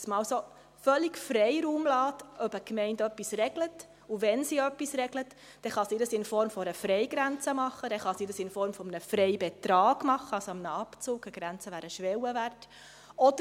Dass man also völligen Freiraum lässt, ob eine Gemeinde etwas regelt, und wenn sie etwas regelt, dass sie dies in Form einer Freigrenze tun kann, dass sie dies in Form eines Freibetrags tun kann – also eines Abzugs, einer Grenze, die ein Schwellenwert wäre.